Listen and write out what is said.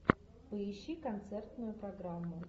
поищи концертную программу